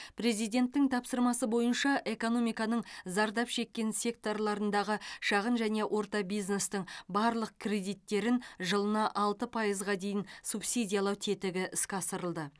президенттің тапсырмасы бойынша экономиканың зардап шеккен секторларындағы шағын және орта бизнестің барлық кредиттерін жылына алты пайызға дейін субсидиялау тетігі іске асырылды